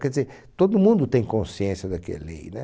Quer dizer, todo mundo tem consciência da que é lei, né?